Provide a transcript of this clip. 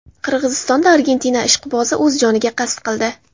Qirg‘izistonda Argentina ishqibozi o‘z joniga qasd qildi.